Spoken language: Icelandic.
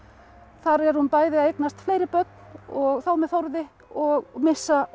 þar er hún bæði að eignast fleiri börn og þá með Þórði og missa